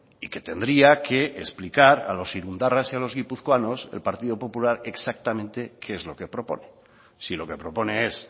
y que tendría que explicar a los irundarras y a los guipuzcoanos el partido popular exactamente qué es lo que propone si lo que propone es